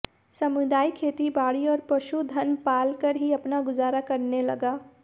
समुदाय खेतीबाड़ी और पशुधन पालकर ही अपना गुजारा करने लगा